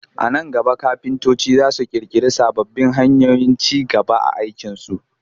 A nan gaba kafintoci za su ƙirƙiri sababbin hanyoyin ci gaba a aikinsu